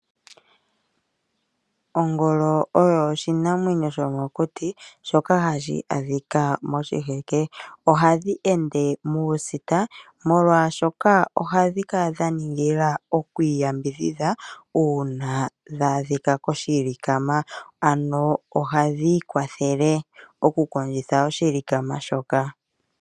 Ongolo oyo oshinamwenyo shomokuti shoka hashi adhika moshiheke. Ohadhi ende muusita molwaashoka ohadhi kala dha ningila oku iyambidhidha uuna dha adhika koshilikama, ano ohadhi i kwathele oku kondjitha oshilikama shoka.